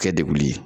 Kɛ degun ye